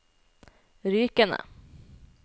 Rykene